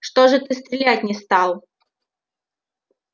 что же ты стрелять не стал